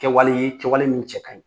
Kɛwale ye kɛwale min cɛkaɲi